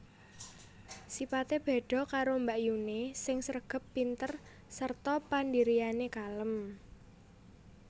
Sipate beda karo mbakyune sing sregep pinter sarta pandhiriyane kalem